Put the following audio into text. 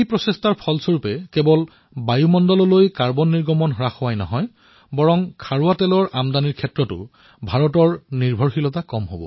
এই প্ৰয়াসে কেৱল কাৰ্বন নিৰ্গমন হ্ৰাস কৰাই নহয় বৰঞ্চ কেঁচা তেলৰ আমদানিও হ্ৰাস কৰিব